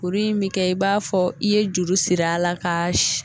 Kurun in bi kɛ i b'a fɔ i ye juru sir'a la k'a